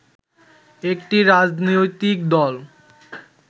একটি রাজনৈতিক দল